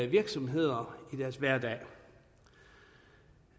virksomhed i deres hverdag